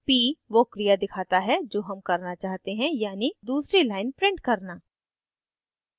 p वो क्रिया दिखाता है जो हम करना चाहते हैं यानी दूसरी line print करना